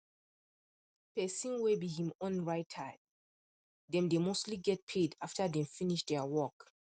person way be him own writer dem dey mostly get paid after dem finish there work